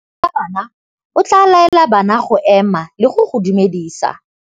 Morutabana o tla laela bana go ema le go go dumedisa.